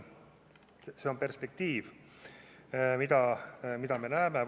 See on perspektiiv, mida me näeme.